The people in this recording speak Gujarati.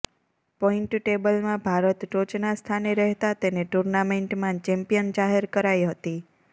પોઈન્ટ ટેબલમાં ભારત ટોચના સ્થાને રહેતા તેને ટુર્નામેન્ટમાં ચેમ્પિયન જાહેર કરાઈ હતી